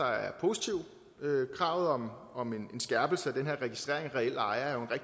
er positive kravet om om en skærpelse af den her registrering af reelle ejere